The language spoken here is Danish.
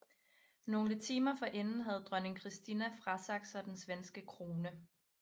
Nogle timer forinden havde dronning Kristina frasagt sig den svenske krone